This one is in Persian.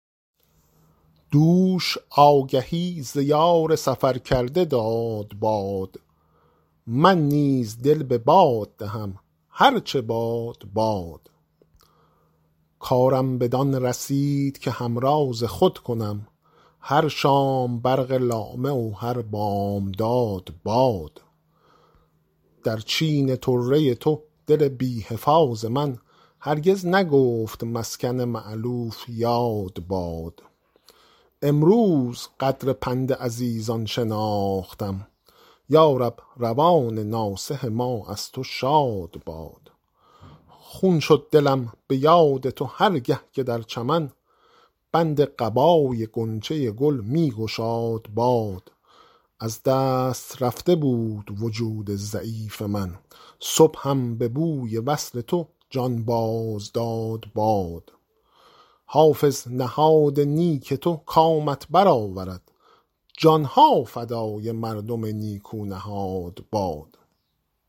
دوش آگهی ز یار سفر کرده داد باد من نیز دل به باد دهم هر چه باد باد کارم بدان رسید که همراز خود کنم هر شام برق لامع و هر بامداد باد در چین طره تو دل بی حفاظ من هرگز نگفت مسکن مألوف یاد باد امروز قدر پند عزیزان شناختم یا رب روان ناصح ما از تو شاد باد خون شد دلم به یاد تو هر گه که در چمن بند قبای غنچه گل می گشاد باد از دست رفته بود وجود ضعیف من صبحم به بوی وصل تو جان باز داد باد حافظ نهاد نیک تو کامت بر آورد جان ها فدای مردم نیکو نهاد باد